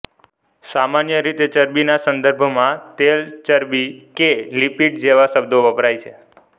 સામાન્ય રીતે ચરબીના સંદર્ભમાં તેલ ચરબી કે લિપીડ જેવા શબ્દો વપરાય છે